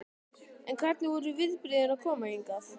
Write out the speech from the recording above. En hvernig voru viðbrigðin að koma hingað?